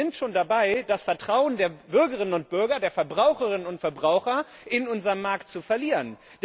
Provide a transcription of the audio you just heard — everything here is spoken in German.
Denn wir sind schon dabei, das Vertrauen der Bürgerinnen und Bürger, der Verbraucherinnen und Verbraucher, in unseren Markt zu verlieren.